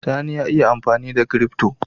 Sani ya iya amfanida crypto